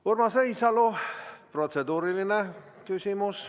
Urmas Reinsalu, protseduuriline küsimus.